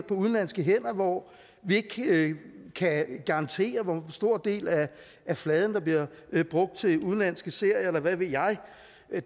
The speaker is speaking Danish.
på udenlandske hænder hvor vi ikke kan garantere hvor stor en del af fladen der bliver brugt til udenlandske serier eller hvad ved jeg